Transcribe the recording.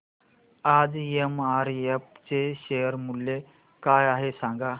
आज एमआरएफ चे शेअर मूल्य काय आहे सांगा